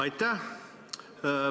Aitäh!